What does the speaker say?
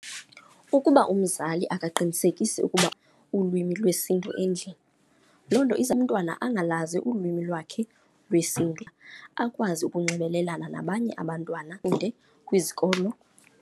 Ukuba umzali akaqinisekisi ukuba ulwimi lwesiNtu endlini, loo nto iza umntwana angalazi ulwimi lwakhe lwesiNtu, akwazi ukunxibelelana nabanye abantwana kude kwizikolo.